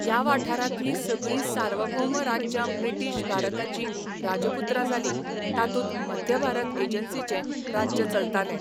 ह्या वाठारांतलीं सगळीं सार्वभौम राज्यां ब्रिटीश भारताचीं राजपुत्रां जालीं, तातूंत मध्यभारत एजन्सीचें राज्य चलतालें.